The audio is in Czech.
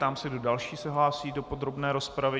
Ptám se, kdo další se hlásí do podrobné rozpravy.